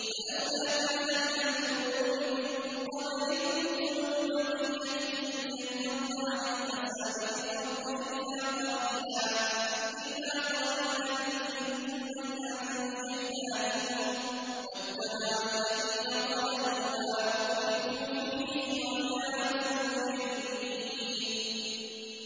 فَلَوْلَا كَانَ مِنَ الْقُرُونِ مِن قَبْلِكُمْ أُولُو بَقِيَّةٍ يَنْهَوْنَ عَنِ الْفَسَادِ فِي الْأَرْضِ إِلَّا قَلِيلًا مِّمَّنْ أَنجَيْنَا مِنْهُمْ ۗ وَاتَّبَعَ الَّذِينَ ظَلَمُوا مَا أُتْرِفُوا فِيهِ وَكَانُوا مُجْرِمِينَ